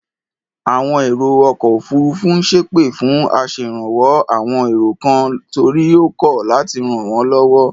Àwọn èrò ọkọ̀ òfuurufú ń ṣẹ́pè fún aṣèrànwọ́ àwon èrò kan torí ó kọ̀ láti ràn wọ́n lọ́wọ́.